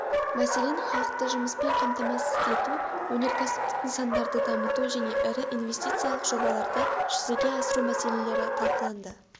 мәселен халықты жұмыспен қамтамасыз ету өнеркәсіптік нысандарды дамыту және ірі инвестициялық жобаларды жүзеге асыру мәселелері талқыланды